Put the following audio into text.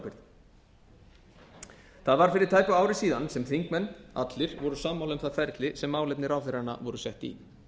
ráðherraábyrgð það var fyrir tæpu ári síðan sem þingmenn allir voru sammála um það ferli sem málefni ráðherranna voru sett í